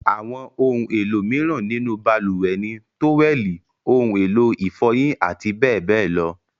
Àwọn ohun-èlò mìíràn nínú balùwẹ̀ ni; tówẹ́lì, ohun-èlò ìfọyín àti bẹ́ẹ̀ bẹ́ẹ̀ lọ.